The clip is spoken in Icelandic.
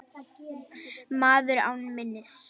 Maður án minnis.